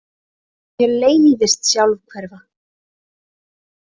Mér leiðist sjálfhverfa.